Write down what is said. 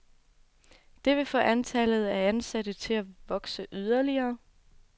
Det vil få antallet af ansatte til at vokse yderligere.